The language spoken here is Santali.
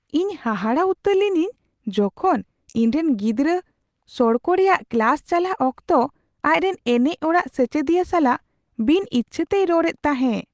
ᱤᱧ ᱦᱟᱦᱟᱲᱟᱜ ᱩᱛᱟᱹᱨ ᱞᱤᱱᱟᱹᱧ ᱡᱚᱠᱷᱚᱱ, ᱤᱧᱨᱮᱱ ᱜᱤᱫᱽᱨᱟᱹ ᱥᱚᱲᱠᱚ ᱨᱮᱭᱟᱜ ᱠᱞᱟᱥ ᱪᱟᱞᱟᱜ ᱚᱠᱛᱚ ᱟᱡ ᱨᱮᱱ ᱮᱱᱮᱡ ᱚᱲᱟᱜ ᱥᱮᱪᱮᱫᱤᱭᱟᱹ ᱥᱟᱞᱟᱜ ᱵᱤᱱ ᱤᱪᱪᱷᱟᱹ ᱛᱮᱭ ᱨᱚᱲ ᱮᱫ ᱛᱟᱦᱮᱸ ᱾